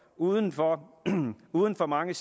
uden for uden for mange